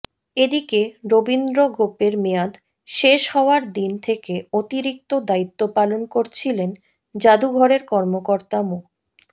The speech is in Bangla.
এদিকে রবীন্দ্র গোপের মেয়াদ শেষ হওয়ার দিন থেকে অতিরিক্ত দায়িত্ব পালন করছিলেন জাদুঘরের কর্মকর্তা মো